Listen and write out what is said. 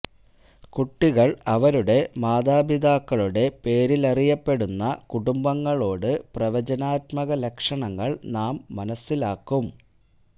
കുട്ടികൾ അവരുടെ മാതാപിതാക്കളുടെ പേരിലറിയപ്പെടുന്ന കുടുംബങ്ങളോട് പ്രവചനാത്മക ലക്ഷണങ്ങൾ നാം മനസ്സിലാക്കും